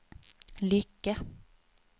Lycke